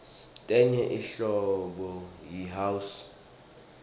tenye inhlobo yi house